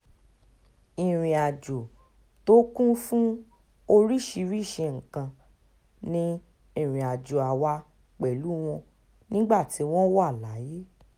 ìrìnàjò tó kún fún oríṣiríṣiì nǹkan ni ìrìnàjò àwa pẹ̀lú wọn nígbà tí wọ́n wà láyé